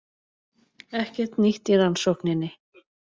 Ekkert nýtt í rannsókninni